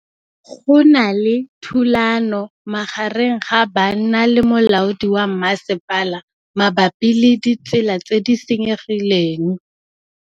Go na le thulanô magareng ga banna le molaodi wa masepala mabapi le ditsela tse di senyegileng.